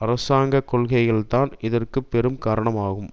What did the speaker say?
அரசாங்க கொள்கைகள்தான் இதற்கு பெரும்பாலும் காரணமாகும்